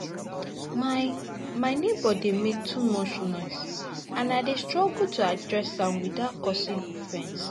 My My neighbor dey make too much noise, and I dey struggle to address am without causing offense.